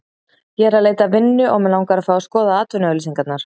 Ég er að leita að vinnu og mig langar að fá að skoða atvinnuauglýsingarnar